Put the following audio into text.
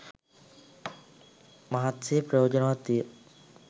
මහත්සේ ප්‍රයෝජනවත් විය.